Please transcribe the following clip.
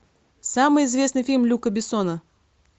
самый известный фильм люка бессона